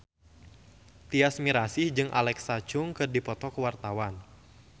Tyas Mirasih jeung Alexa Chung keur dipoto ku wartawan